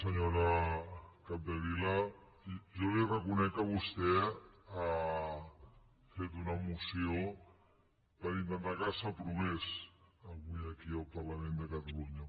senyora capdevila jo li reconec que vostè ha fet una moció per intentar que s’aprovés avui aquí al parlament de catalunya